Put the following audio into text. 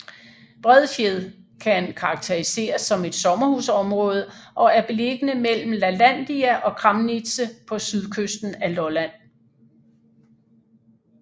Bredfjed kan karakteriseres som et sommerhusområde og er beliggende mellem Lalandia og Kramnitze på sydkysten af Lolland